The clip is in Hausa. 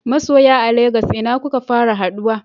Masoya a Lagos ina kuka fara haduwa?